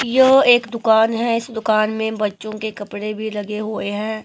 यो एक दुकान है इस दुकान में बच्चों के कपड़े भी लगे हुए हैं।